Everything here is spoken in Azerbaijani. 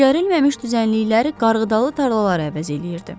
Becərilməmiş düzənlikləri qarğıdalı tarlalar əvəz eləyirdi.